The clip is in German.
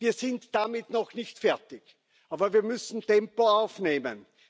Wir sind damit noch nicht fertig, aber wir müssen Tempo aufnehmen.